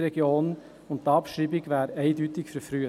Die Abschreibung wäre eindeutig verfrüht.